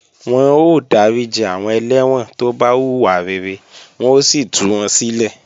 Wọ́n ó dáríji àwọn ẹlẹ́wọ̀n tó bá hùwà rere wọ́n ó sì tú wọn sílẹ̀